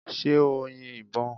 Ṣé o yin ìbo?